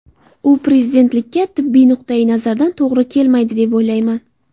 U prezidentlikka tibbiy nuqtai nazardan to‘g‘ri kelmaydi deb o‘ylamayman.